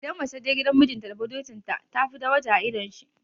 Idan mace ta je gidan mijinta da budurcinta, tafi daraja a idon shi.